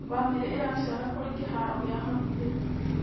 Bamĩrĩ ĩracera kũrĩ kĩharo gĩa hakuhĩ.